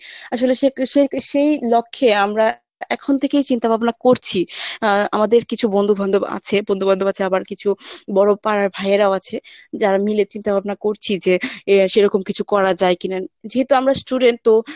আসলে সেই লক্ষ্যে আমরা এখন থেকেই চিন্তাভাবনা করছি আহ আমাদের কিছু বন্ধু-বান্ধব আছে বন্ধু-বান্ধব আছে আবার কিছু বড় পাড়ার ভাইয়েরাও আছে যারা মিলে চিন্তাভাবনা করছি যে সেরকম কিছু করা যায় কিনা যেহেতু আমরা student তো